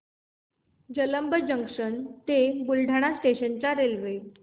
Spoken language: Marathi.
जलंब जंक्शन ते बुलढाणा स्टेशन च्या रेल्वे